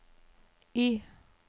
Y